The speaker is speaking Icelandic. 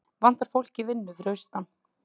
Vantar fólk í vinnu fyrir austan